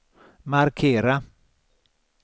markera